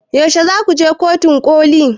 Yaushe zaku je kotun ƙoli?